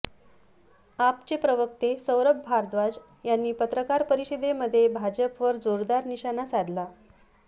आपचे प्रवक्ते सौरभ भारद्वाज यांनी पत्रकार परिषदेमध्ये भाजपवर जोरदार निशाणा साधला